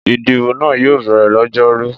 Ìdìbò náà yóò bẹ̀rẹ̀ lọ́jọ́rú.